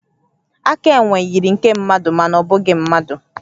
Aka enwe yiri nke mmadụ, mana ọ bụghị mmadụ